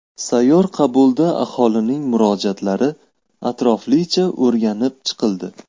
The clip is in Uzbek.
Sayyor qabulda aholining murojaatlari atroflicha o‘rganib chiqildi.